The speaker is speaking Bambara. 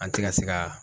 An ti ka se ka